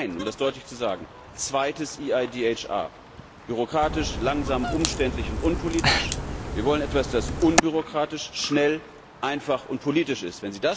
Wir wollen um das deutlich zu sagen kein zweites EIDHR bürokratisch, langsam, umständlich und unpolitisch. Wir wollen etwas, das unbürokratisch, schnell, einfach und politisch ist.